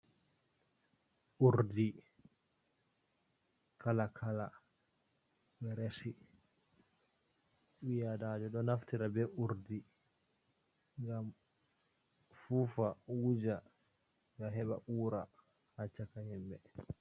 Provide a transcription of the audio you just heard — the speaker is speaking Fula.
Urdi kala kala, ɓeɗo resi, ɓi adamajo ɗo naftira be urdi ngam fufa, wuja, nga heɓa ura ha chaka himɓɓe.